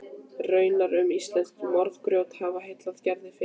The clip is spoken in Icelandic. Raunar mun íslenskt fjörugrjót hafa heillað Gerði fyrr.